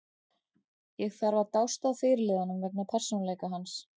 Ég þarf að dást að fyrirliðanum vegna persónuleika hans.